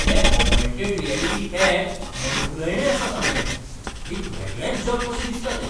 हें augmented reality app मनभुलयणें आसा सामकें. एक वेगळेंच जग कशें दिसता तें.